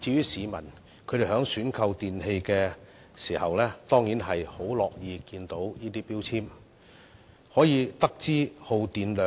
市民在選購電器時當然樂見有關標籤，因為從中可以知道產品的耗電量。